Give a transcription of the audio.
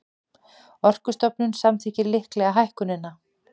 Orkustofnun samþykkir líklega hækkunina